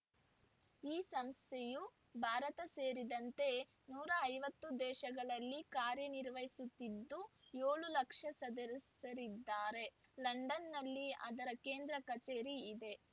ಈ ಸಂಸ್ಥೆಯು ಭಾರತ ಸೇರಿದಂತೆ ನೂರ ಐವತ್ತು ದೇಶಗಳಲ್ಲಿ ಕಾರ್ಯನಿರ್ವಹಿಸುತ್ತಿದ್ದು ಏಳು ಲಕ್ಷ ಸದಸ್ಯರಿದ್ದಾರೆ ಲಂಡನ್‌ನಲ್ಲಿ ಅದರ ಕೇಂದ್ರ ಕಚೇರಿ ಇದೆ